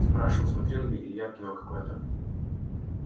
спрашивал смотрел ли илья кино какое-то